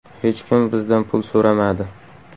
Hech kim bizdan pul so‘ramadi.